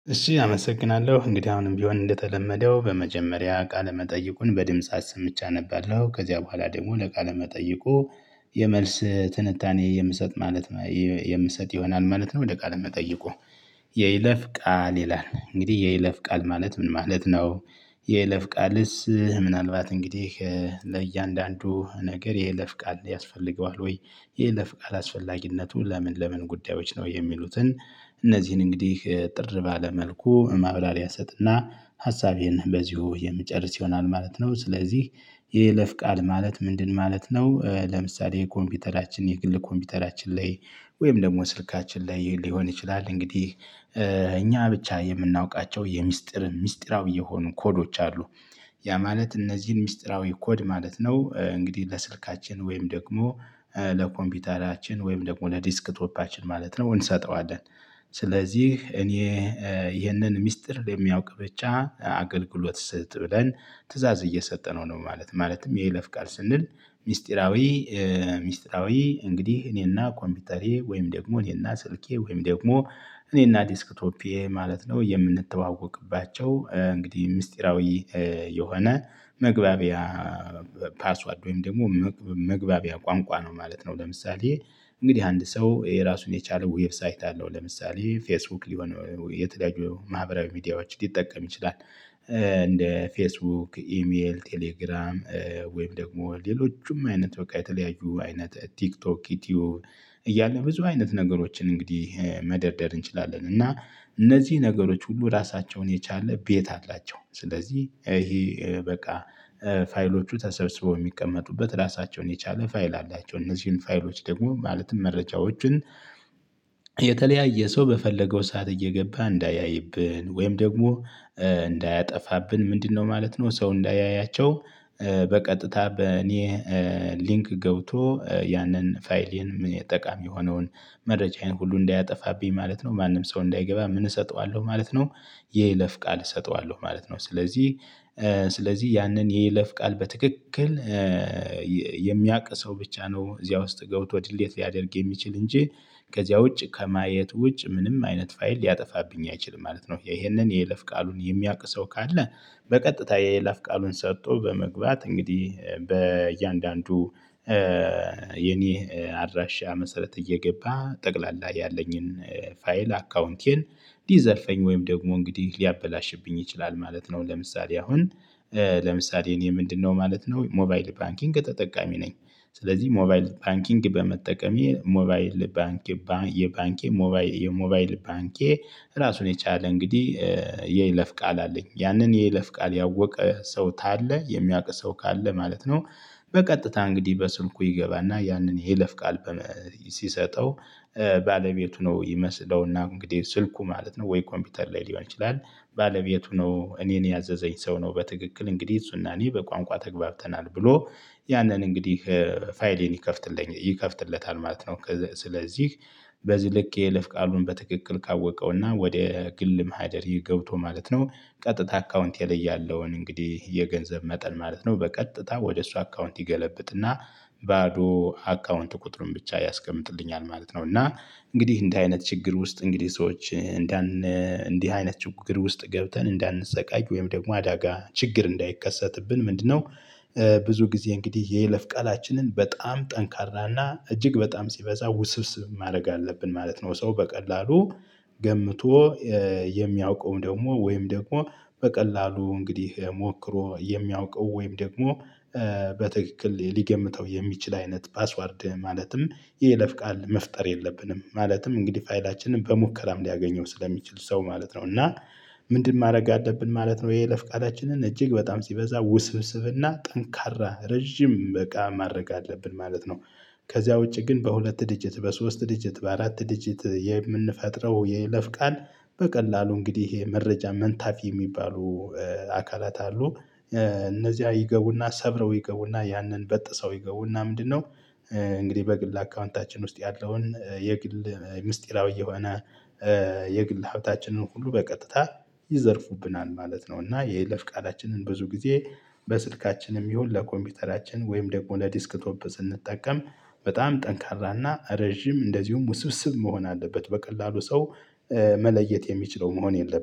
እሺ አመሰግናለሁ እንግዲህ አሁንም ቢሆን እንደተለመደው በመጀመሪያ ቃለ መጠይቁን በድምጽ አስምቼ አነባለሁ ከዚያ በኋላ ደግሞ ለቃለ መጠይቁ የመልስ ትንታኔ የምሰጥ ማለት የምሰጥ ይሆናል ማለት ነው። ወደ ቃል መጠይቁ የይለፍ ቃል ይላል እንግዲህ የይለፍ ቃል ማለት ምን ማለት ነው? የለፍቃልስ ምናልባት እንግዲህ ለእያንዳንዱ ነገር ይሄ ለፍቃድ ያስፈልገዋል ወይ ይሄ ለፍቃድ አስፈላጊነቱ ለምን ለምን ጉዳዮች ነው የሚሉትን እነዚህን እንግዲህ እጥር ባለ መልኩ ማብራሪያ እሰጥና ሀሳቤን በዚሁ የምጨርስ ይሆናል ማለት ነው። ስለዚህ የይለፍ ቃል ማለት ምንድን ማለት ነው? ለምሳሌ ኮምፒውተራችን የግል ኮምፒውተራችን ላይ ወይም ደግሞ ስልካችን ላይ ሊሆን ይችላል እንግዲህ እኛ ብቻ የምናውቃቸው የምስጢርን ምስጢራዊ የሆኑ ኮዶች አሉ። ያ ማለት እነዚህን ሚስጥራዊ ኮድ ማለት ነው። እንግዲህ ለስልካችን ወይም ደግሞ ለኮምፒውተራችን ወይም ደግሞ ለዲስክቶፓችን ማለት ነው እንሰጠዋለን። ስለዚህ እኔ ይህንን ሚስጥር በሚያውቅ ብቻ አገልግሎት ስጥ ብለን ትእዛዝ እየሰጠነው ነው። ማለት ማለትም የይለፍ ቃል ስንል ሚስጢራዊ ሚስጥራዊ እንግዲህ እኔና ኮምፒውተሬ ወይም ደግሞ እኔና ስልኬ ወይም ደግሞ እኔና ዴስክቶፔ ማለት ነው የምንተዋወቅባቸው እንግዲህ ምስጢራዊ የሆነ መግባቢያ ፓስዋርድ ወይም ደግሞ መግባቢያ ቋንቋ ነው ማለት ነው። ለምሳሌ እንግዲህ አንድ ሰው የራሱን የቻለ ዌብሳይት አለው ለምሳሌ ፌስቡክ ሊሆን የተለያዩ ማህበራዊ ሚዲያዎች ሊጠቀም ይችላል። እንደ ፌስቡክ ኢሜል ቴሌግራም ወይም ደግሞ ሌሎቹም አይነት በቃ የተለያዩ አይነት ቲክቶክ ዩቲዩብ። እያለ ብዙ አይነት ነገሮችን እንግዲህ መደርደር እንችላለን እና እነዚህ ነገሮች ሁሉ ራሳቸውን የቻለ ቤት አላቸው። ስለዚህ ይሄ በቃ ፋይሎቹ ተሰብስበው የሚቀመጡበት ራሳቸውን የቻለ ፋይል አላቸው። እነዚህን ፋይሎች ደግሞ ማለትም መረጃዎችን የተለያየ ሰው በፈለገው ሰዓት እየገባ እንዳያይብን ወይም ደግሞ እንዳያጠፋብን ምንድነው ማለት ነው? ሰው እንዳያያቸው በቀጥታ በእኔ ሊንክ ገብቶ ያንን ፋይሌን ም የጠቃሚ የሆነውን መረጃዬን ሁሉ እንዳያጠፋብኝ ማለት ነው። ማንም ሰው እንዳይገባ ምን እሰጠዋለሁ ማለት ነው የይለፍ ቃል እሰጠዋለሁ ማለት ነው። ስለዚህ ስለዚህ ያንን የይለፍ ቃል በትክክል የሚያቅ ሰው ብቻ ነው እዚያ ውስጥ ገብቶ ድሌት ሊያደርግ የሚችል እንጂ ከዚያ ውጭ ከማየት ውጭ ምንም አይነት ፋይል ሊያጠፋብኝ አይችልም ማለት ነው። ይሄንን የይለፍ ቃሉን የሚያውቅ ሰው ካለ በቀጥታ የይይለፍ ቃሉን ሰጥቶ በመግባት እንግዲህ በእያንዳንዱ የኔ አድራሻ መሰረት እየገባ ጠቅላላ ያለኝን ፋይል አካውንቴን ዲ ዘልርፈኝ ወይም ደግሞ እንግዲህ ሊያበላሽብኝ ይችላል ማለት ነው። ለምሳሌ አሁን ለምሳሌ እኔ ምንድነው ማለት ነው ሞባይል ባንኪንግ ተጠቃሚ ነኝ። ስለዚህ ሞባይል ባንኪንግ በመጠቀሜ ሞባይል ባንክ የባንኬ የሞባይል ባንኬ ራሱን የቻለ እንግዲህ የለፍ ቃል አለኝ ያንን የይለፍ ቃል ያወቀ ሰው ታለ የሚያውቅ ሰው ካለ ማለት ነው። በቀጥታ እንግዲህ በስልኩ ይገባና ያንን የይለፍ ቃል ሲሰጠው ባለቤቱ ነው ይመስለውና እንግዲህ ስልኩ ማለት ነው ወይ ኮምፒውተር ላይ ሊሆን ይችላል። ባለቤቱ ነው እኔን ያዘዘኝ ሰው ነው በትክክል እንግዲህ እሱና እኔ በቋንቋ ተግባብተናል ብሎ ያንን እንግዲህ ፋይሌን ይከፍትልኝ ይከፍትለታል ማለት ነው። ስለዚህ በዚህ ልክ የለፍ ቃሉን በትክክል ካወቀውና ወደ ግል ማህደሬ ገብቶ ማለት ነው ቀጥታ አካውንቴ ለይ ያለውን እንግዲህ የገንዘብ መጠን ማለት ነው በቀጥታ ወደ እሱ አካውንት ይገለብጥና ባዶ አካውንት ቁጥሩን ብቻ ያስቀምጥልኛል ማለት ነው። እና እንግዲህ እንዲህ አይነት ችግር ውስጥ እንግዲህ ሰዎች እንዳን እንዲህ አይነት ችግር ውስጥ ገብተን እንዳንሰቃይ ወይም ደግሞ አዳጋ ችግር እንዳይከሰትብን ምንድነው? ብዙ ጊዜ እንግዲህ የይለፍ ቃላችንን በጣም ጠንካራና እጅግ በጣም ሲበዛ ውስብስብ ማረግ አለብን ማለት ነው። ሰው በቀላሉ ገምቶ የሚያውቀውም ደግሞ ወይም ደግሞ በቀላሉ እንግዲህ ሞክሮ የሚያውቀው ወይም ደግሞ በትክክል ሊገምተው የሚችል አይነት ፓስዋርድ ማለትም የይለፍ ቃል መፍጠር የለብንም ማለትም እንግዲህ ፋይላችንን በሙከራም ሊያገኘው ስለሚችል ሰው ማለት ነው። እና ምንድን ማድረግ አለብን ማለት ነው? ይሄ የይለፍ ቃላችንን እጅግ በጣም ሲበዛ ውስብስብና ጠንካራ ረዥም በቃ ማድረግ አለብን ማለት ነው። ከዚያ ውጪ ግን በሁለት ድጅት በሶስት ድጅት በአራት ድጅት የምንፈጥረው የይለፍ ቃል በቀላሉ እንግዲህ ይሄ መረጃ መንታፊ የሚባሉ አካላት አሉ። እነዚያ ይገቡና ሰብረው ይገቡና ያንን በጥሰው ይገቡና ምንድነው? እንግዲህ በግል አካውንታችን ውስጥ ያለውን የግል ምስጢራዊ የሆነ የግል ሀብታችንን ሁሉ በቀጥታ ይዘርፉብናል ማለት ነው። እና የይለፍ ቃላችንን ብዙ ጊዜ በስልካችንም ይሁን ለኮምፒውተራችን ወይም ደግሞ ለዴስክ ቶፕ ስንጠቀም በጣም ጠንካራና ረዥም እንደዚሁም ውስብስብ መሆን አለበት። በቀላሉ ሰው መለየት የሚችለው መሆን የለበትም